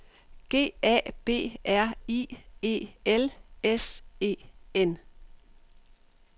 G A B R I E L S E N